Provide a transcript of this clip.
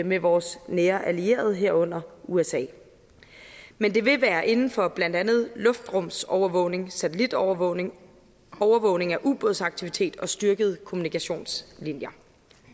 med vores nære allierede herunder usa men det vil være inden for blandt andet luftrumsovervågning satellitovervågning overvågning af ubådsaktivitet og styrkede kommunikationslinjer